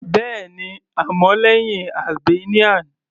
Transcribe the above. Bẹ́ẹ̀ni, àmọ́ lẹ́hìn Albanian.